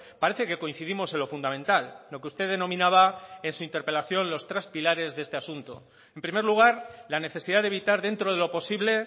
parece que coincidimos en lo fundamental lo que usted denominaba en su interpelación los tres pilares de este asunto en primer lugar la necesidad de evitar dentro de lo posible